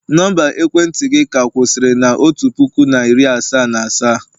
Nọmba ekwentị gị ka kwusiri na otu puku na iri asaa na asaa?